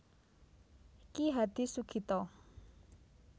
Ki Hadi Sugito